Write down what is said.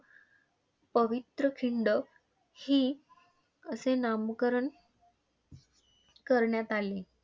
पवित्रखिंड ही असे नामकरण करण्यात आले.